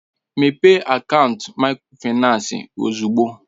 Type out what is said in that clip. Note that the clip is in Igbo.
Mépee akaant Mikrofaịnsi ozugbo!